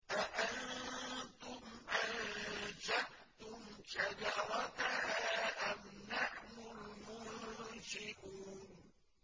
أَأَنتُمْ أَنشَأْتُمْ شَجَرَتَهَا أَمْ نَحْنُ الْمُنشِئُونَ